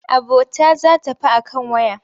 Abota za ta fi a kan waya.